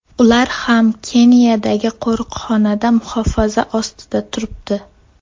Ular ham Keniyadagi qo‘riqxonada muhofaza ostida turibdi.